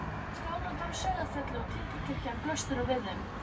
Skálarnir á Sauðafelli og timburkirkjan blöstu nú við þeim.